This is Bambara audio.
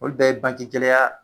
Ou bɛɛ ye banke gɛkɛlɛya